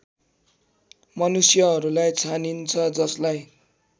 मनुष्यहरूलाई छानिन्छ जसलाई